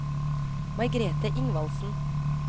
Margrethe Ingvaldsen